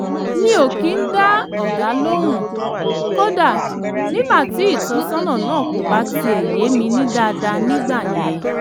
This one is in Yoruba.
mi ò kì í dá ọ̀gá lóhùn kódà nígbà tí ìtọ́sọ́nà náà kò bá tiẹ̀ yé mi dáadáa nígbà yẹn